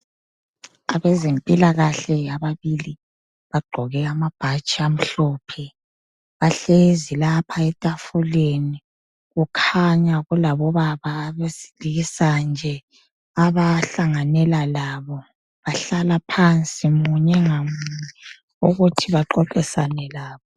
Abezempilakahle ababili bagqoke amabhatshi amhlophe bahlezi lapha etafuleni kukhanya kulabobaba abesilisa nje abahlanganela labo. Bahlala phansi munye ngamunye ukuthi baxoxisane labo.